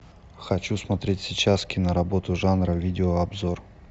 хочу смотреть сейчас киноработу жанра видеообзор